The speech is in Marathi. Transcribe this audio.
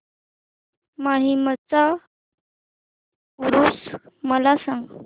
माहीमचा ऊरुस मला सांग